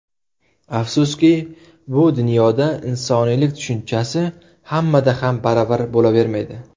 Afsuski, bu dunyoda insoniylik tushunchasi hammada ham baravar bo‘lavermaydi.